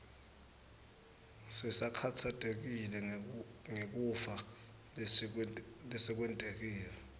sisakhatsatekile ngekufa lesekwentekile